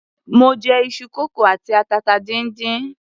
Mo jẹ iṣu kókò àti atata díndín.